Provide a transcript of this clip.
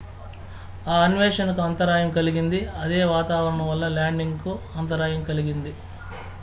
ఆ అన్వేషణ కు అంతరాయం కలిగింది అదే వాతావరణం వల్ల ల్యాండింగ్ కు అంతరాయం కలిగింది